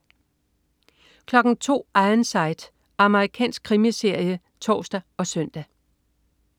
02.00 Ironside. Amerikansk krimiserie (tors og søn)